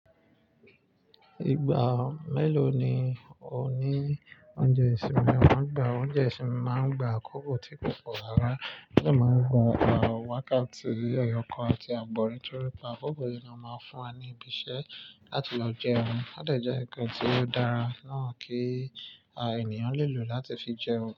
Ìgbà mélòó ni o ní oúnjẹ ìsinmi? A máa ń gba oúnjẹ ìsinmi, a máa ń gba àkókò tí púpọ̀ ara lè máa ń gba wákàtí ẹyọ kan àti àgbọ̀nrín torí pé àkókò yìí ni a máa ń fún wa ní ibi iṣẹ́ láti lọ jẹun. Ó dèje nǹkan tí ó dára náà kí a ènìyàn lè lò láti fi jẹun.